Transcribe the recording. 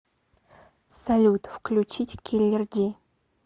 салют включить киллер ди